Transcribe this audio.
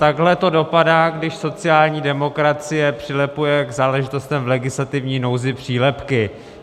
Takhle to dopadá, když sociální demokracie přilepuje k záležitostem v legislativní nouzi přílepky.